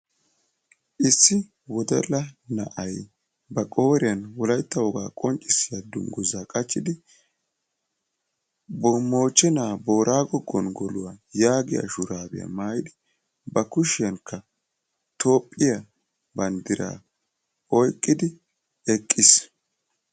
issi wodalla na"ay ba qooriyani wolytta wogaa qoncisiyaa dunguzza qachidi ba kushiyanikka toophiyaa bandira oyqidi eqiisi.